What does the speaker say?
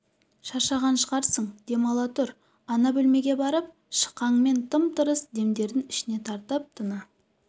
шаршаған шығарсың дем ала тұр ана бөлмеге барып шықаң мен тым-тырыс демдерін ішіне тартып тына